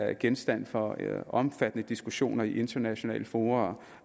er genstand for omfattende diskussioner i internationale fora